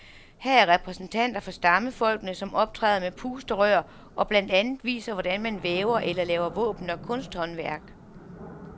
Her er repræsentanter for stammefolkene, som optræder med pusterør og blandt andet viser, hvordan man væver eller laver våben og kunsthåndværk.